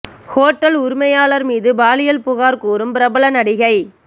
hotel உரிமையாளர் மீது பாலியல் புகார் கூறும் பிரபல நடிகை